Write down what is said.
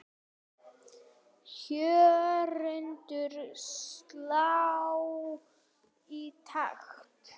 Hjörtun slá í takt.